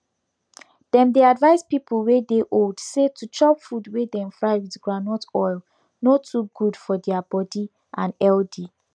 dem dey advise people wey dey old say to chop food wey dem fry with groundut oil no too good for deir body and healthy